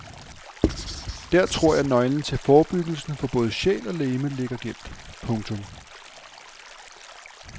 Der tror jeg nøglen til forebyggelsen for både sjæl og legeme ligger gemt. punktum